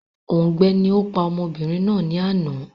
Òùngbẹ ni ó pa ọmọbìnrin náà ni àná